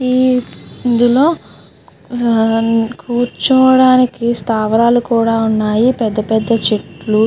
ఈ ఇంద్దులో కురోచోడానికి స్తవరాళ్ళు కూడా ఉన్నాయి. పెద్దదా పెద్ద చేట్లు --